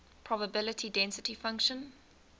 probability density function